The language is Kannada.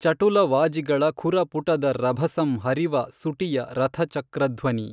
ಚಟುಲ ವಾಜಿಗಳ ಖುರಪುಟದ ರಭಸಂ ಹರಿವ ಸುಟಿಯ ರಥಚಕ್ರಧ್ವನಿ।